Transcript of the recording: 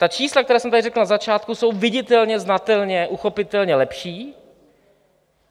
Ta čísla, která jsem tady řekl na začátku, jsou viditelně, znatelně, uchopitelně lepší.